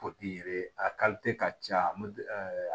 a ka ca